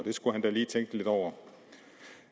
skulle han da lige tænke lidt over